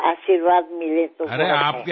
మీ ఆశీర్వాదం దొరికితే